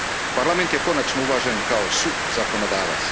Parlament je konačno uvažen kao suzakonodavac.